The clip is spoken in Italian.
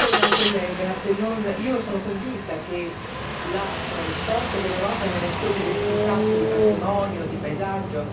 Io sono convinta che la forza dell'Europa stia nella sua diversità anche in termini di patrimonio, di paesaggio e di tradizioni.